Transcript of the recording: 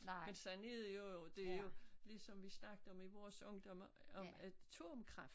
Men sådan er det jo dét jo ligesom vi snakkede om i vores ungdom om at atomkraft